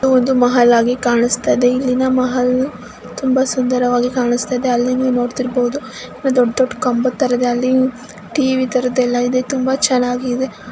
ಇದು ಒಂದು ಮಹಲ್ ಆಗಿ ಕಾಣ್ಸತಾಯಿದೆ. ಇಲ್ಲಿನ ಮಹಲ್ ತುಂಬಾ ಸುಂದರವಾಗಿ ಕಾಣಿಸುತ್ತಾ ಇದೆ. ಆಲ್ಲಿ ನೀವು ನೋಡತಿರಬೋಡಹು ದೊಡ್ಡದೊಡ್ಡ್ ಕಂಬದ ತರ ಆಲ್ಲಿ ಟಿವಿ ತರದ್ ತುಂಬಾ ಚೆನ್ನಾಗಿ ಇದೆ.